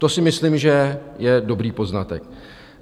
To si myslím, že je dobrý poznatek.